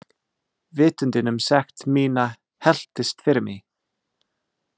Vitundin um sekt mína helltist yfir mig.